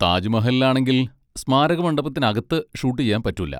താജ് മഹലിൽ ആണെങ്കിൽ, സ്മാരകമണ്ഡപത്തിനകത്ത് ഷൂട്ട് ചെയ്യാൻ പറ്റൂല.